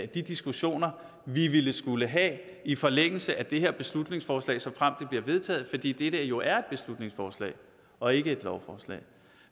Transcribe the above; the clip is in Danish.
de diskussioner vi ville skulle have i forlængelse af det her beslutningsforslag såfremt det bliver vedtaget fordi det jo er et beslutningsforslag og ikke et lovforslag